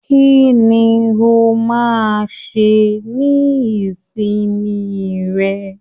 Kínní o máa n ṣe ní ìsinmi rẹ?